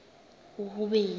uhuben